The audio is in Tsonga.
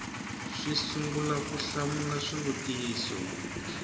si sungula ku hlamula swivutiso